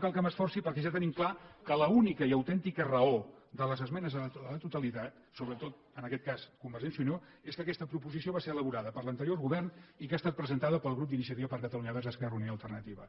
cal que m’esforci perquè ja tenim clar que l’única i autèntica raó de les esmenes a la totalitat sobretot en aquest cas convergència i unió és que aquesta proposició va ser elaborada per l’anterior govern i que ha estat presentada pel grup d’iniciativa per catalunya verds esquerra unida i alternativa